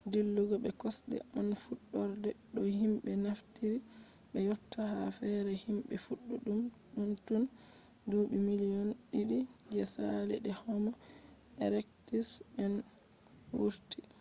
dillugo be kosɗe on fuɗɗorde no himɓe naftiri be yotta ha fere himɓe fuɗɗi ɗum tun duuɓi miliyon ɗiɗi je saali de homo erektus en wurti